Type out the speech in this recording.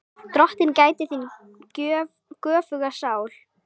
Drottin gæti þín göfuga sál.